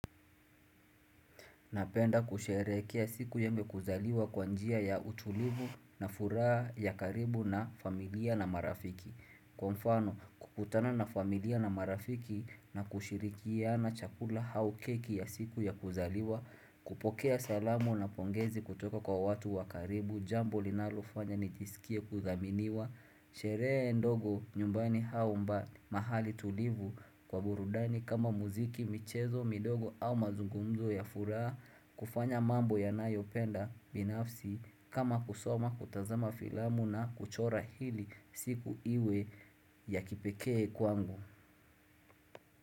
Napenda kusherehekea siku yembe kuzaliwa kwanjia ya utulivu na furaa ya karibu na familia na marafiki Kwa mfano kukutana na familia na marafiki na kushirikia na chakula haukeki ya siku ya kuzaliwa kupokea salamu na pongezi kutoka kwa watu wa karibu jambo linalofanya nijisikie kuthaminiwa Sheree ndogo nyumbani haumba mahali tulivu kwa burudani kama muziki michezo midogo au mazungumzo ya furaha kufanya mambo ya nayopenda binafsi kama kusoma kutazama filamu na kuchora hili siku iwe ya kipekee kwangu.